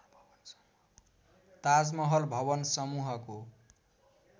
ताजमहल भवन समूहको